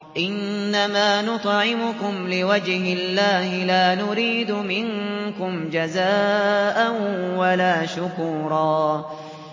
إِنَّمَا نُطْعِمُكُمْ لِوَجْهِ اللَّهِ لَا نُرِيدُ مِنكُمْ جَزَاءً وَلَا شُكُورًا